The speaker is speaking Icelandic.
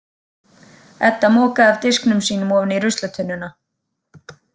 Edda mokaði af diskinum sínum ofan í ruslatunnuna.